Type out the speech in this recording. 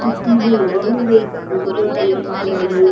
சுத்திலு ஆளுங்க கொஞ்சோ பேர் போய்ட்ருக்கறாங்க.